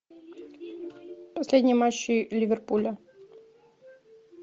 последний матч ливерпуля